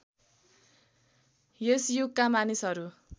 यस युगका मानिसहरू